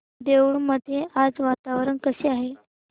देऊर मध्ये आज वातावरण कसे आहे